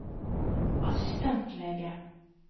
assistentlege